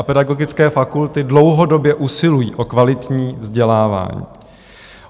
A pedagogické fakulty dlouhodobě usilují o kvalitní vzdělávání.